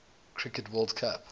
cricket world cup